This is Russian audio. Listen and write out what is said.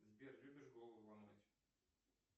сбер любишь голову ломать